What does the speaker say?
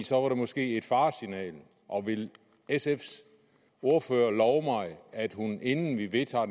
så var det måske et faresignal vil sfs ordfører love mig at hun inden vi vedtager